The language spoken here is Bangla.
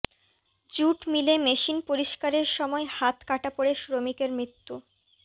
জুট মিলে মেশিন পরিষ্কারের সময় হাত কাটা পড়ে শ্রমিকের মৃত্যু